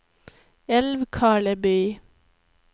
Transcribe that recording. Älvkarleby